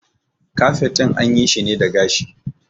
Kafet ɗin an yi shi ne da gashi